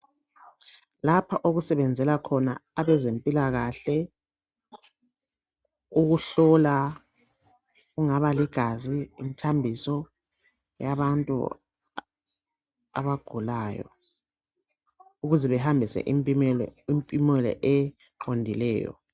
Lapha okusebenzela khona abezempilakahle ukuhlola kungaba ligazi, umthambiso yabantu abagulayo ukuze bahambise impumela eqondileyo.